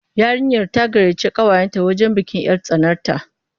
Yarinyar ta gayyaci ƙawayenta wajen bikin 'yar tsanarta.